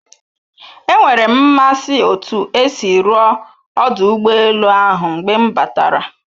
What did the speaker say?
Enwere m mmasị otu esi rụọ ọdụ ụgbọ elu ahụ mgbe m batara